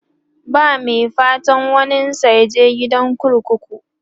ba Mai fatan waninsa yaje gidan kurkuku